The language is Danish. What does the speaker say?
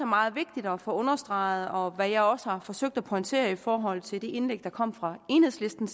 meget vigtigt at få understreget og hvad jeg også har forsøgt at pointere i forhold til det indlæg der kom fra enhedslisten